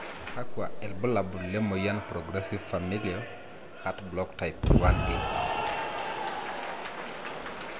kakwa iilbulabul lemoyian Progressive familial heart block type 1A?